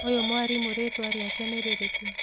ũyũ mwarimũ rĩtwa rĩake nĩ rĩrĩkũ?